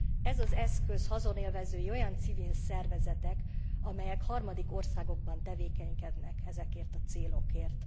Ezen eszköz haszonélvezői olyan civil szervezetek, amelyek harmadik országokban tevékenykednek ezekért a célokért.